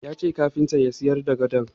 Ya ce kafintan ya sayar da gadon.